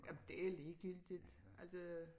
Jamen det ligegyldigt altså